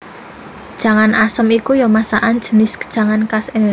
Jangan asem ya iku masakan jinis jangan khas Indonésia